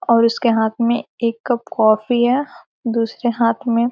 और उसके हाथ में एक कप कॉफी है दूसरे हाथ में --